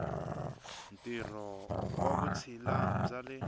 ntirho wa vutshila bya le